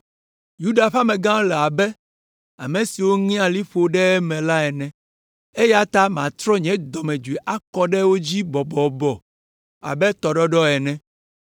Yuda ƒe amegãwo le abe ame siwo ŋea liƒo ɖe eme la ene, eya ta matrɔ nye dɔmedzoe akɔ ɖe wo dzi bɔbɔbɔ abe tɔɖɔɖɔ ene,